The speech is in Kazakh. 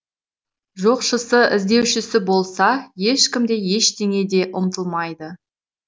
жоқшысы іздеушісі болса ешкім де ештеңе де ұмытылмайды